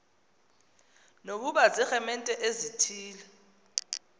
nokuba ziiremente ezithile